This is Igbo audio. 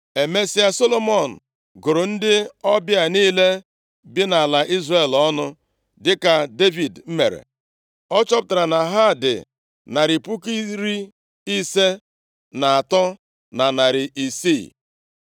Emesịa, Solomọn gụrụ ndị ọbịa niile bi nʼala Izrel ọnụ, dịka Devid mere, achọpụtara na ha dị narị puku iri ise na atọ, na narị isii (153,600).